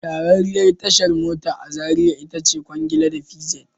Shahararriyar tashar mota a Zariya ita ce Kwangila da PZed